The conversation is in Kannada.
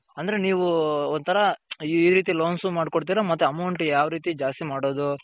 ಅಂದರೆ ನೀವು ಒಂತರ ಈ ರೀತಿ loans ಮಾಡ್ಕೋಡತಿರಾ ಮತ್ತೆ amount ಯಾವ್ ರೀತಿ ದ್ಯಸ್ತಿ ಮಾಡೊದು .